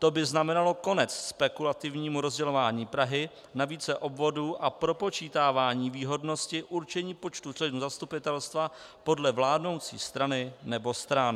To by znamenalo konec spekulativnímu rozdělování Prahy na více obvodů a propočítávání výhodnosti určení počtu členů zastupitelstva podle vládnoucí strany nebo stran.